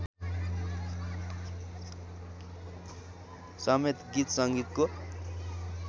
समेत गीत सङ्गीतको